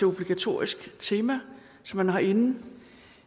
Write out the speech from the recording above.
obligatorisk tema som man har inde